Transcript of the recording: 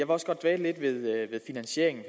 også godt dvæle lidt ved finansieringen